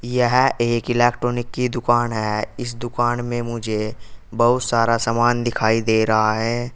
यह एक इलेक्ट्रॉनिक की दुकान है इस दुकान में मुझे बहुत सारा सामान दिखाई दे रहा है।